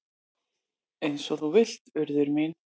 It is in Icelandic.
"""Eins og þú vilt, Urður mín."""